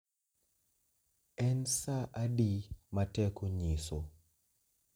En saa adi ma teko nyiso?